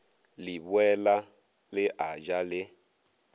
leboela le a ja le